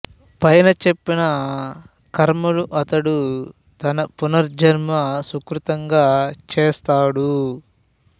పైన చెప్పిన కర్మలు అతడు తన పూర్వజన్మ సుకృతంగా చేస్తాడు